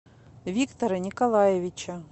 виктора николаевича